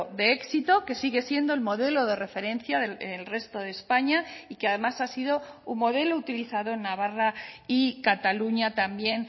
de éxito que sigue siendo el modelo de referencia del resto de españa y que además ha sido un modelo utilizado en navarra y cataluña también